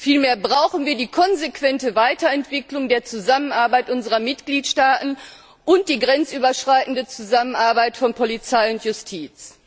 Vielmehr brauchen wir die konsequente Weiterentwicklung der Zusammenarbeit unserer Mitgliedstaaten und die grenzüberschreitende Zusammenarbeit von Polizei und Justiz.